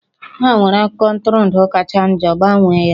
Ha nwere akụkọ ntụrụndụ kacha njọ, gbanwee ya!